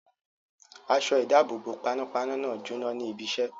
Aṣọ-ìdáàbòbò panápaná náà jóná ní ibiṣẹ́.